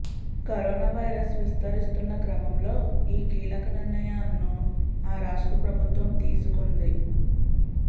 corona virus విస్తరిస్తున్న క్రమంలో ఈ కీలక నిర్ణయాలను ఆ రాష్ట్ర ప్రభుత్వం తీసుకుంది